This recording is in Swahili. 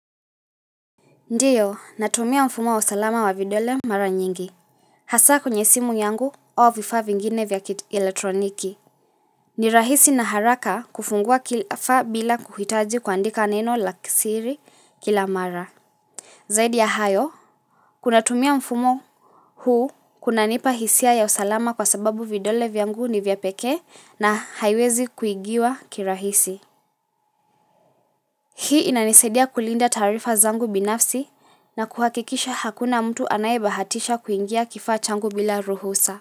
Ndiyo, natumia mfumo wa usalama wa vidole mara nyingi. Hasa kwenye simu yangu au vifaa vingine vya kielektroniki. Ni rahisi na haraka kufungua kifaa bila kuhitaji kuandika neno la siri kila mara. Zaidi ya hayo, kunatumia mfumo huu kunanipa hisia ya usalama kwa sababu vidole vyangu ni vya pekee na haiwezi kuigiwa kirahisi. Hii inanisadia kulinda taarifa zangu binafsi na kuhakikisha hakuna mtu anayebahatisha kuingia kifaa changu bila ruhusa.